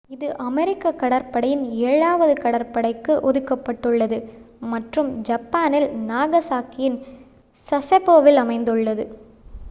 இது அமெரிக்க கடற்படையின் ஏழாவது கடற்படைக்கு ஒதுக்கப்பட்டுள்ளது மற்றும் ஜப்பானில் நாகசாகியின் சசெபோவில் அமைந்துள்ளது